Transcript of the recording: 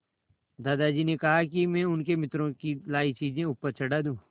दादाजी ने कहा कि मैं उनके मित्रों की लाई चीज़ें ऊपर चढ़ा दूँ